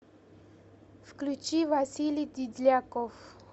включи василий дидляков